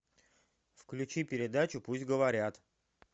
включи передачу пусть говорят